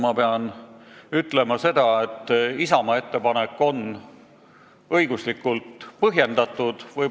Ma pean ütlema, et Isamaa ettepanek on õiguslikult põhjendatud.